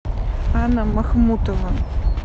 анна махмутова